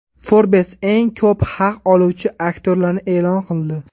Forbes eng ko‘p haq oluvchi aktyorlarni e’lon qildi.